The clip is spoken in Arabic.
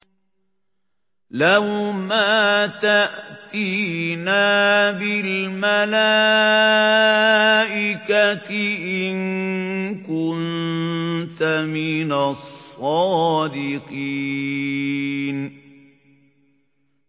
لَّوْ مَا تَأْتِينَا بِالْمَلَائِكَةِ إِن كُنتَ مِنَ الصَّادِقِينَ